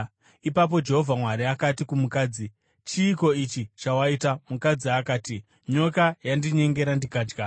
Ipapo Jehovha Mwari akati kumukadzi, “Chiiko ichi chawaita?” Mukadzi akati, “Nyoka yandinyengera, ndikadya.”